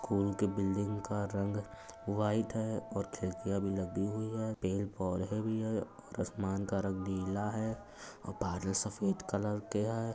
School के building का रंग व्हाइट है और खिड़कियाँ भी लगी हुई है पेड़ पौधे भी हैं और आसमान का रंग नीला है और बादल सफेद कलर के हैं।